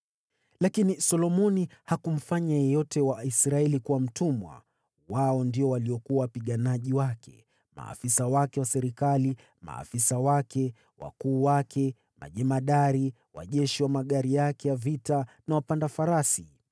Lakini Solomoni hakumfanya yeyote wa Waisraeli kuwa mtumwa; wao ndio waliokuwa wapiganaji wake, maafisa wake wa serikali, maafisa wake, wakuu wake, majemadari wa jeshi wa magari yake ya vita na wapanda farasi.